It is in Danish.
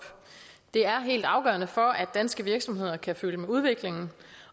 det er helt afgørende for at danske virksomheder kan følge med udviklingen